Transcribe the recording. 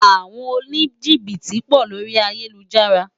Awòn ónijibiti pò lóri àyélújàrá